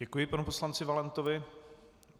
Děkuji panu poslanci Valentovi.